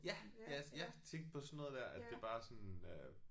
Ja ja jeg tænkte på sådan noget der at det bare er sådan øh